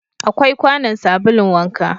Akwai kwanon sabulun wanka